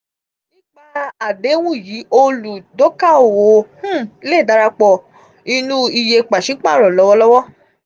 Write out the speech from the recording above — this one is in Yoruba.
nípa àdéhùn yìí olùdókaòwò um lè darapọ̀ inú iye pàṣípàrọ̀ lọ́wọ́lọ́wọ́.